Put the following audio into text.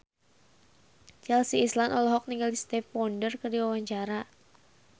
Chelsea Islan olohok ningali Stevie Wonder keur diwawancara